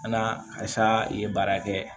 Alasa i ye baara kɛ